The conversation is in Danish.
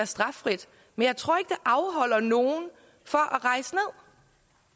straffrit men jeg tror ikke afholder nogen fra